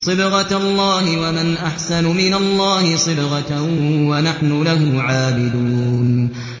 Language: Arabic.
صِبْغَةَ اللَّهِ ۖ وَمَنْ أَحْسَنُ مِنَ اللَّهِ صِبْغَةً ۖ وَنَحْنُ لَهُ عَابِدُونَ